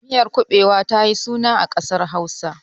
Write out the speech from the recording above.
Miyar kuɓewa ta yi suna a ƙasar Hausa.